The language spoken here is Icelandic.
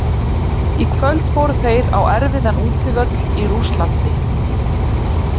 Í kvöld fóru þeir á erfiðan útivöll í Rússlandi.